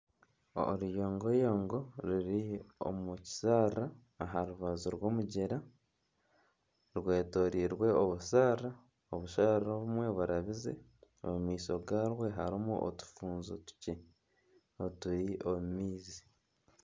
Oruyongoyongo ruri omu kisharara aha rubaju rw'omugyera, rwetoreirwe obusharara, obusharara obumwe burabize omu maisho gaarwo harimu otufuuzo tukye